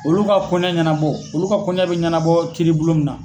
Olu ka kɔnɛ ɲɛnabɔ olu ka kɔnɛ bɛ ɲɛnabɔ kiiri bulon min na.